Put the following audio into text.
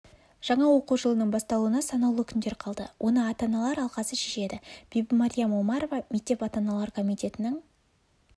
жаңа оқу жылының басталуына санаулы күндер қалды оны ата-аналар алқасы шешеді бибімәриям омарова мектеп ата-аналар комитетінің